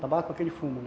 Tabaco é aquele fumo, né?